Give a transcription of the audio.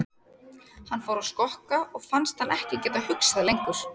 Hann fór að skokka og fannst hann ekki geta hugsað lengur.